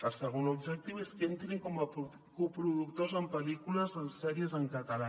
el segon objectiu és que entrin com a coproductors en pel·lícules i en sèries en català